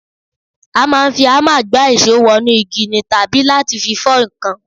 A máa ń fi hámà gbá ìṣó wọ inú igi ni tàbí láti fi fọ́ nǹkan